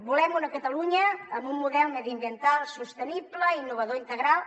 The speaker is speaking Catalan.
volem una catalunya amb un model mediambiental sostenible innovador i integral